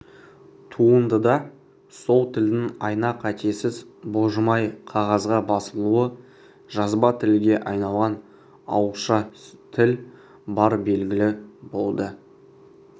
туындыда сол тілдің айна-қатесіз бұлжымай қағазға басылуы жазба тілге айналған ауызша тіл бары белгілі болды